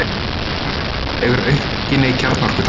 Íranar búa yfir aukinni kjarnorkutækni